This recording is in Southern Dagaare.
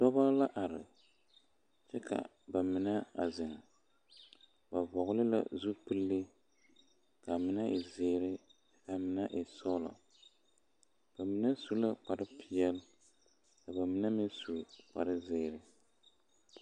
Dɔbɔ la are kyɛ ka ba mine a zeŋ ba vɔgle la zupili ka a mine e zeere ka a mine e sɔglɔ ba mine su la kparepeɛle ka ba mine meŋ su kparezeere.